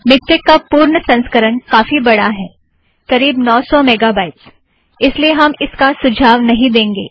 MiKTeX का पूर्ण संस्करण काफ़ी बड़ा है करीब नौ सौ मेगा बाइट्स इसलिए हम इसका सुझाव नहीं देंगे